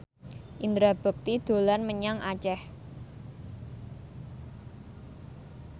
Indra Bekti dolan menyang Aceh